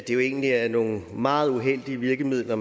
jo egentlig er nogle meget uheldige virkemidler